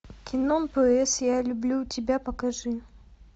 кино п с я люблю тебя покажи